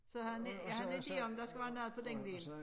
Så har jeg har en ide om der skal være noget på den vinkel